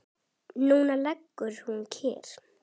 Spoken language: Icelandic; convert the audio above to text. Núna liggur hún kyrr.